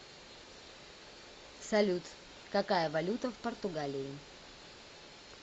салют какая валюта в португалии